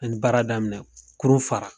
N ye baara daminɛ , kurun fara